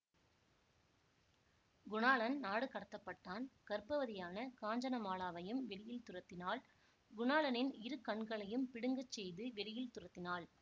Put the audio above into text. குணாளன் நாடுகடத்தப்பட்டான் கர்ப்பவதியான காஞ்சனமாலாவையும் வெளியில் துரத்தினாள் குணாளனின் இரு கண்களையும் பிடுங்கச் செய்து வெளியில் துரத்தினாள்